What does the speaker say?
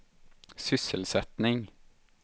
sysselsättning